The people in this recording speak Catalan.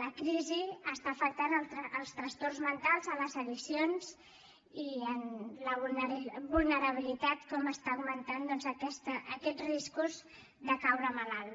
la crisi està afectant els trastorns mentals les addiccions i la vulnerabilitat com estan augmentant doncs aquests riscos de caure malalt